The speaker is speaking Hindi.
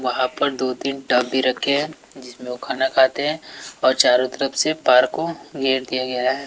वहां पर दो तीन टब भी रखें है जिसमें वो खाना खाते हैं और चारों तरफ से पार्क को घेर दिया गया है।